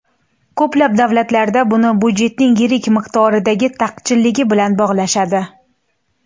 Ko‘plab davlatlarda buni byudjetning yirik miqdordagi taqchilligi bilan bog‘lashadi.